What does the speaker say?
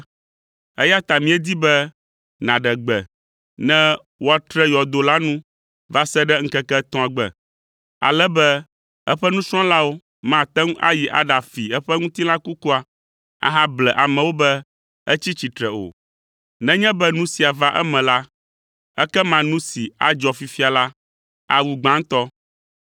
eya ta míedi be nàɖe gbe ne woatre yɔdo la nu va se ɖe ŋkeke etɔ̃a gbe, ale be eƒe nusrɔ̃lawo mate ŋu ayi aɖafi eƒe ŋutilã kukua ahable amewo be etsi tsitre o. Nenye be nu sia va eme la, ekema nu si adzɔ fifia la, awu gbãtɔ.”